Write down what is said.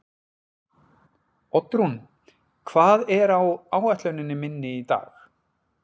Oddrún, hvað er á áætluninni minni í dag?